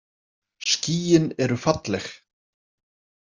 Skýin eru falleg.